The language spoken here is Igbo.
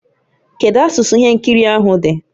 Kedu asụsụ ihe nkiri ahụ dị?